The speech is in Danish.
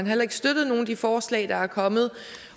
heller ikke støttet nogen af de forslag der er kommet